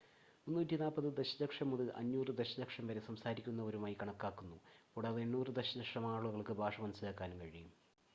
340 ദശലക്ഷം മുതൽ 500 ദശലക്ഷം വരെ സംസാരിക്കുന്നവരായി കണക്കാക്കുന്നു കൂടാതെ 800 ദശലക്ഷം ആളുകൾക്ക് ഭാഷ മനസ്സിലാക്കാനും കഴിയും